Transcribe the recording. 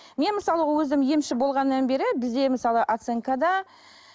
мен мысалы өзім емші болғаннан бері бізде мысалы оценкада